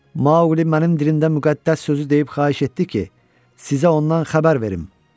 Mauqli mənim dilimdə müqəddəs sözü deyib xahiş etdi ki, sizə ondan xəbər verim.